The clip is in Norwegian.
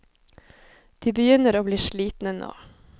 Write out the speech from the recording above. De begynner å bli slitne nå.